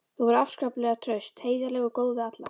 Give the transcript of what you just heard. Þau voru afskaplega traust, heiðarleg og góð við alla.